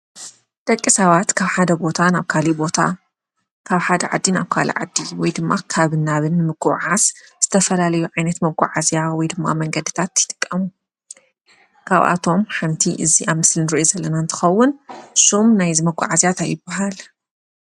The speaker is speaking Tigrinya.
ደቂ ሰባት ካብ ሓደ ቦታ ናብ ካሊእ ቦታ ካብ ሓደ ዓዲ ናብ ካሊእ ዓዲ ወይድማ ካብን ናብን ንምጉዓዓዝ ዝተፈላለዩ ዓይነት መጓዓዓዝያ ወይድማ መንገዲታት ይጥቀሙ። ካብኣቶም ሓንቲ እዚ ኣብ ምስሊ እንርእዩ ዘለና እንትትኸውን ሹም ናይዚ መጓዓዝያ ታይ ይባሃል?